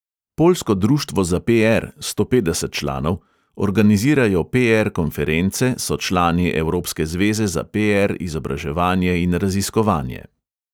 Poljsko društvo za PR – sto petdeset članov, organizirajo PR konference, so člani evropske zveze za PR, izobraževanje in raziskovanje.